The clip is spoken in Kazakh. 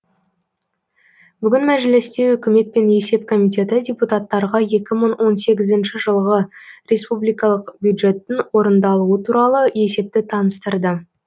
бүгін мәжілісте үкімет пен есеп комитеті депутаттарға екі мың он сегізінші жылғы республикалық бюджеттің орындалуы туралы есепті таныстырды